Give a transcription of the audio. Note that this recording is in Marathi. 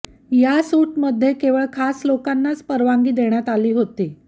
या सुटमध्ये केवळ खास लोकांनाच परवानगी देण्यात आली होती